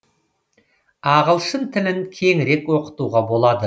ағылшын тілін кеңірек оқытуға болады